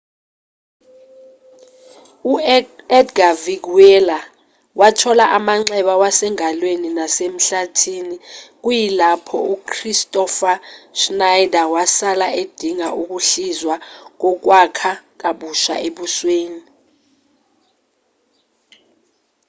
u-edga veguilla wathola amanxeba wasengalweni nasemhlathini kuyilapho u-kristoffer schneider wasala edinga ukuhlizwa kokwakha kabusha ebusweni